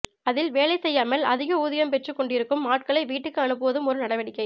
அதில் வேலை செய்யாமல் அதிக ஊதியம் பெற்று கொண்டிருக்கும் ஆட்களை வீட்டுக்கு அனுப்புவதும் ஒரு நடவடிக்கை